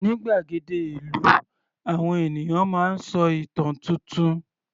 Ní gbàgede ìlú, àwọn ènìyàn máa ń sọ ìtàn tuntun.